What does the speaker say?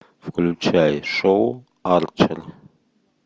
включай шоу арчер